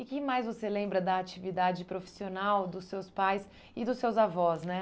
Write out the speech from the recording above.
E que mais você lembra da atividade profissional dos seus pais e dos seus avós, né?